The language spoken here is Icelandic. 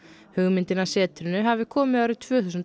hugmyndin að setrinu hafi komið árið tvö þúsund og